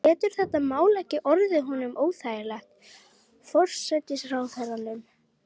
Getur þetta mál ekki orðið honum óþægilegt, forsætisráðherranum?